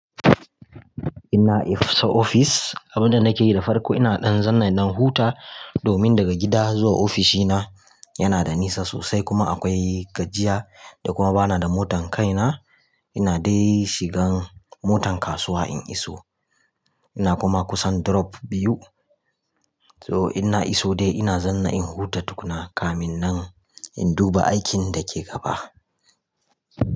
Ina isa ofis, abin da nake yi da farko ina ɗan zanna ɗan huta domin daga gida zuwa ofishina yana da nisa sosai kuma akwai gajiya da kuma bana da motan kaina. Ina dai shigan motan kasuwa in iso. Ina kuma kusan drop biyu. So ina iso dai ina zanna in huta tukuna kamin nan in duba aikin da ke gaba.